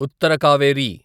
Uttara Kaveri